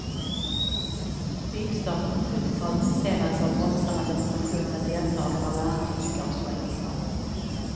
Byggstarten på sjuttiotalet försenades av våldsamma demonstrationer med deltagande av bland andra tyskar och schweizare.